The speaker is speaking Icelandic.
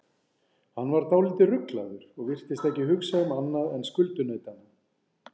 Hann var dálítið ruglaður og virtist ekki hugsa um annað en skuldunautana.